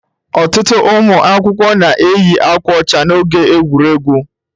Ọtụtụ ụmụ akwụkwọ na-eyi akwa ọcha n'oge egwuregwu.